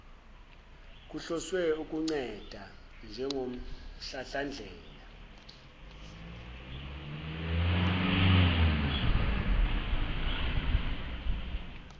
kuhloswe ukunceda njengomhlamhlandlela